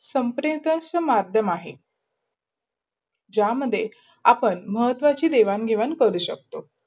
संप्रधारशक् मधयम अहे. ज्या मध्ये आपण महत्वची देवान निवान करू शकतो.